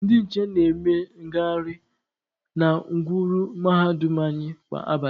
Ndị nche na-eme ngaharị na ngwuru mahadum anyị kwa abalị.